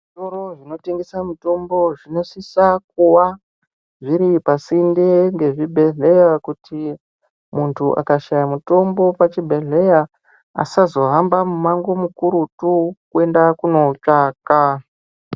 Zvitoro zvinotengesa mutombo zvinosisa kuwa zviripasinde ngezvibhedhlera, kuti muntu akashaya mutombo pachibhedhlera asazohamba mumango mukurutu kuenda kunoutsvaka.